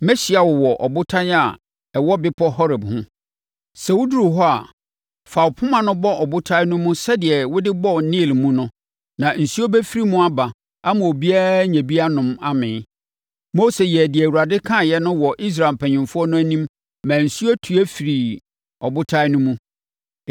Mɛhyia wo wɔ ɔbotan a ɛwɔ bepɔ Horeb ho. Sɛ woduru hɔ a, fa wo poma no bɔ ɔbotan no mu sɛdeɛ wode bɔɔ Nil mu no na nsuo bɛfiri mu aba ama obiara anya bi anom amee.” Mose yɛɛ deɛ Awurade kaeɛ no wɔ Israel mpanimfoɔ no anim maa nsuo tue firii ɔbotan no mu.